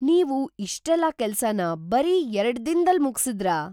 ನೀವು ಇಷ್ಟೆಲ್ಲ ಕೆಲ್ಸನ ಬರೀ ಎರಡ್ದಿನದಲ್ಲಿ ಮುಗ್ಸಿದ್ರಾ?